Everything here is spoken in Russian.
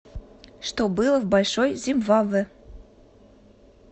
что было в большой зимбабве